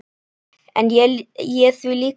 En ég er því líka góð.